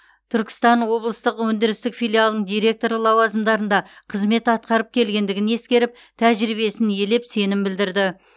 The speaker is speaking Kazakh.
түркістан облыстық өндірістік филиалының директоры лауазымдарында қызмет атқарып келгендігін ескеріп тәжірибесін елеп сенім білдірді